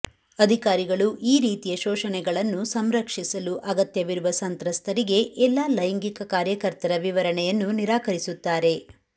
ಅಧಿಕಾರಿಗಳು ಈ ರೀತಿಯ ಶೋಷಣೆಗಳನ್ನು ಸಂರಕ್ಷಿಸಲು ಅಗತ್ಯವಿರುವ ಸಂತ್ರಸ್ತರಿಗೆ ಎಲ್ಲಾ ಲೈಂಗಿಕ ಕಾರ್ಯಕರ್ತರ ವಿವರಣೆಯನ್ನು ನಿರಾಕರಿಸುತ್ತಾರೆ